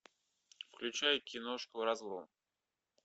включай киношку разлом